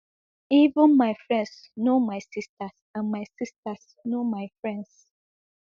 even my friends know my sisters and my sisters know my friends